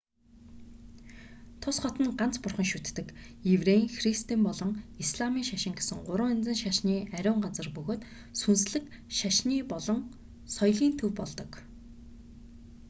тус хот нь ганц бурхан шүтдэг еврейн христийн болон исламын шашин гэсэн гурван янзын шашны ариун газар бөгөөд сүнслэг шашны болон соёлын төв болдог